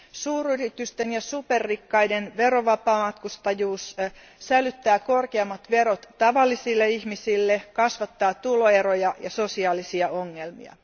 Suuryritysten ja superrikkaiden verovapaamatkustajuus sälyttää korkeammat verot tavallisille ihmisille, kasvattaa tuloeroja ja sosiaalisia ongelmia.